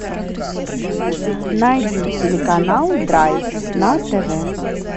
найди телеканал драйв на тв